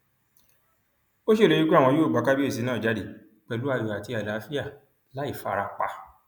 ó ṣèlérí pé àwọn yóò gba kábíyèsí náà jáde pẹlú ayọ àti àlàáfíà láì fara pa